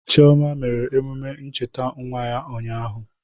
Chioma mere emume ncheta nwa ya ụnyahụ.